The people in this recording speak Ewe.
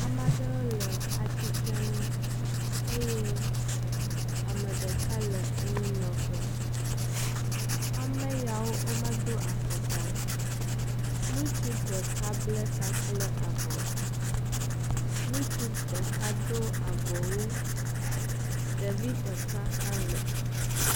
amaɖewo le atsitrenu eye ameɖeka le anyinɔƒe ameyawo wó medó afɔkpa o nutsu ɖeka ble ta kple avɔ nutsu ɖeka dó avɔwu ɖevi ɖeka hã le